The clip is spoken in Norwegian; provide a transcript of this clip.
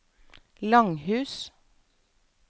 Langhus